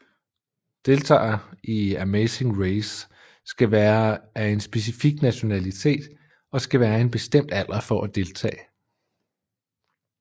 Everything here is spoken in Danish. Deltagere i The Amazing Race skal være at en specifik nationalitet og skal være en bestem alder for at deltage